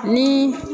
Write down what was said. Ni